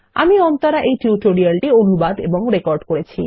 আমি অন্তরা এই টিউটোরিয়াল টি অনুবাদ এবং রেকর্ড করেছি